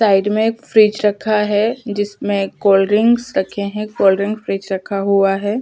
Side में एक fridge रखा है जिसमें कोल्ड ड्रिंक्स रखे है कोल्ड ड्रींक फ्रिज रखा हुआ हैं।